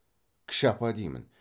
кіші апа деймін